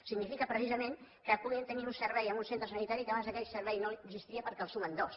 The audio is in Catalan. significa precisament que puguin tenir un servei en un centre sanitari que abans aquell servei no existia perquè el sumen dos